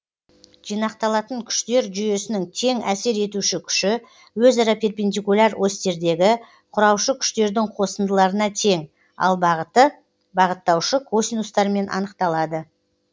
жинақталатын күштер жүйесінің тең әсер етуші күші өзара перпендикуляр осьтердегі кұраушы күштердің қосындыларына тең ал бағыты бағыттаушы косинустармен анықталады